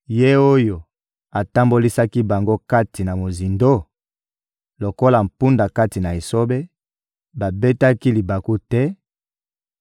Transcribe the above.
Ye oyo atambolisaki bango kati na mozindo? Lokola mpunda kati na esobe, babetaki libaku te;